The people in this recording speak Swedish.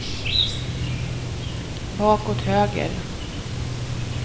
bakåt höger